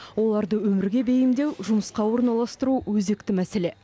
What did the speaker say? оларды өмірге бейімдеу жұмысқа орналастыру өзекті мәселе